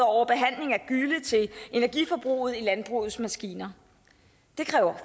over behandling af gylle til energiforbruget i landbrugets maskiner det kræver